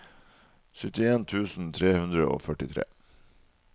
syttien tusen tre hundre og førtitre